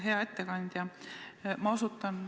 Hea ettekandja!